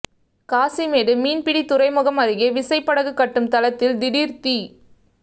காசிமேடு மீன்பிடி துறைமுகம் அருகே விசைப்படகு கட்டும் தளத்தில் திடீர் தீ